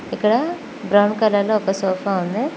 ఇక్కడ brown colour లో ఒక సోఫా ఉంది.